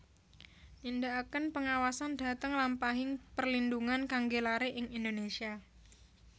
Nindakaken pengawasan dhateng lampahing perlindhungan kanggé laré ing Indonésia